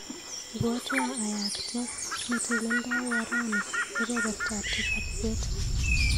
Ibwatwa ayakte neteleldowo rani kebebertap tisap bet.